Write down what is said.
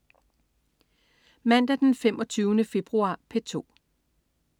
Mandag den 25. februar - P2: